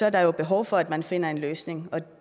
at der jo er behov for at man finder en løsning og det